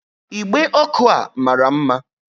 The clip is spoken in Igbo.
Igbe ọkụ a mara mma